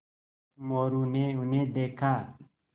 मोरू ने उन्हें देखा